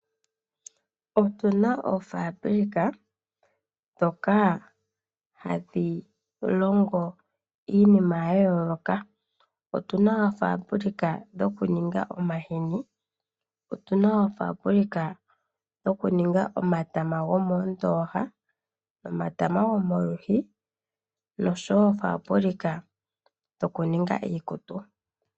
Otu na oofabulika ndhoka hadhi longo iinima ya yooloka. Otu na oofaabulika dhokuninga omahini. Otu na oofaabulika dhokuninga omatama gomoondooha nomatama gomolwiishi noshowo oofabulika dhokuninga iikutu.